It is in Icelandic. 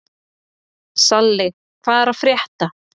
Salli, hvað er að frétta?